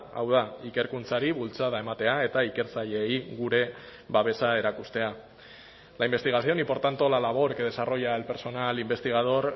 hau da ikerkuntzari bultzada ematea eta ikertzaileei gure babesa erakustea la investigación y por tanto la labor que desarrolla el personal investigador